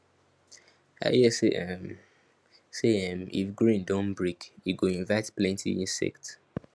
i hear say um say um if grain don break e go invite plenty insect